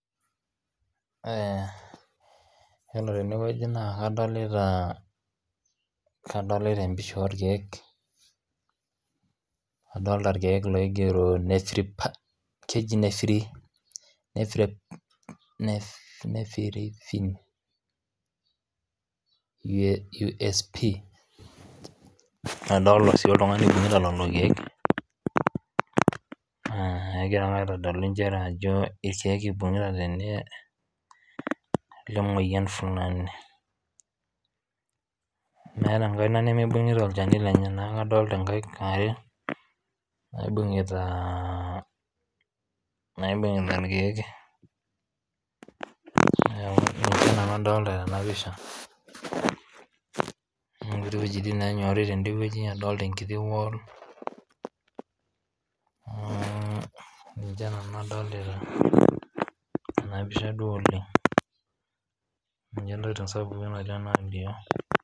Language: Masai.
Ore teneweji naa kadolita empisha orkiek, adolita ilkeek loigero keji nephrifine sp adolita sii oltungani loibung'uta lelo ilkieek egira naa aitodolu inchere ajo esiaki eibung'uta tende emoyian fulani meeta enkaina nemeibung'ut ilcheni lenyenyana adolita inkaik aare naibung'uta ilkeek naa ninche adolita tena mpisha netii wejitin naanyorri tende weji adolita enkiti p wall ninche nanu adolita tena mpisa duo oleng ninye ntokitin sapuki nadolita.